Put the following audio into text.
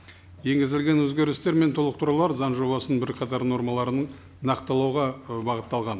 енгізілген өзгерістер мен толықтырулар заң жобасының бірқатар нормаларын нақтылауға ы бағытталған